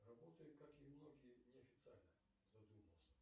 работаю как и многие неофициально задумался